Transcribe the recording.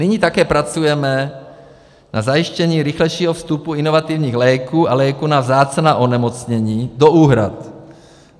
Nyní také pracujeme na zajištění rychlejšího vstupu inovativních léků a léků na vzácná onemocnění do úhrad.